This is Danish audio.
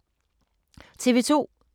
TV 2